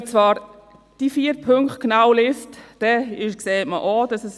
Wenn man die vier Punkte genau liest, sieht man es auch.